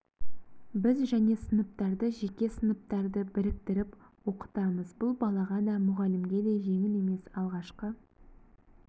біз және сыныптарды және сыныптарды біріктіріп оқытамыз бұл балаға да мұғалімге де жеңіл емес алғашқы